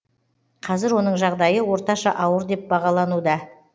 қазір оның жағдайы орташа ауыр деп бағалануда